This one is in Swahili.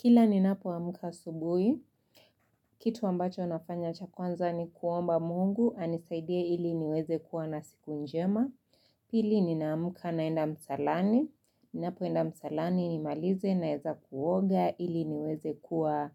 Kila ninapoamka asubuhi, kitu ambacho nafanya cha kwanza ni kuomba mungu, anisaidie ili niweze kuwa na siku njema. Pili ninaamka naenda msalani, ninapoenda msalani nimalize naeza kuoga ili niweze kuwa